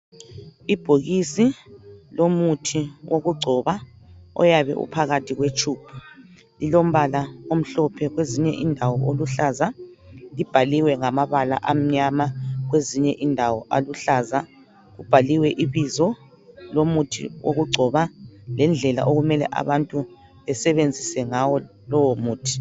Ibhokisi lomuthi okugcoba oyabe uphakathi kwetshubhu. Lilombala omhlophe kwezinye indawo oluhlaza. Libhaliwe ngamabala amnyama kwezinye indawo aluhlaza. Kubhaliwe ibela abizo lomuthi okugcoba ngendlela kumele abantu basebenzise ngayo lomuthi.